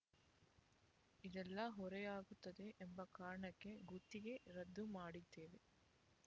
ಇದೆಲ್ಲಾ ಹೊರೆಯಾಗುತ್ತದೆ ಎಂಬ ಕಾರಣಕ್ಕೆ ಗುತ್ತಿಗೆ ರದ್ದು ಮಾಡಿದ್ದೇವೆ